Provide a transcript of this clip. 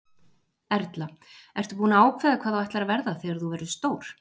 Erla: Ertu búin að ákveða hvað þú ætlar að verða þegar þú verður stór?